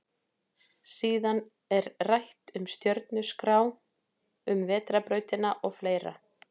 Síðan er rætt um stjörnuskrá, um vetrarbrautina og fleira.